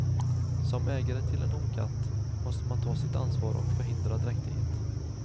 Som ägare till en honkatt måste man ta sitt ansvar och förhindra dräktighet.